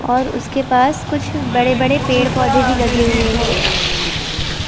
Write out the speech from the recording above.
और उसके पास कुछ बड़े-बड़े पेड़-पौधे भी लगे हुए हैं।